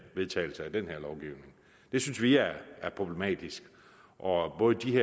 vedtagelse af den her lovgivning det synes vi er problematisk og både de